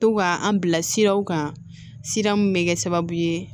To ka an bila siraw kan sira mun bɛ kɛ sababu ye